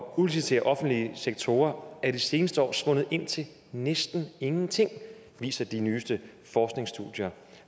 udlicitere offentlige sektorer de seneste år er svundet ind til næsten ingenting det viser de nyeste forskningsstudier